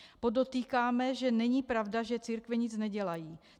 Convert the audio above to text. Podotýkáme, že není pravda, že církve nic nedělají.